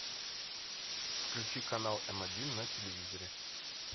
включи канал м один на телевизоре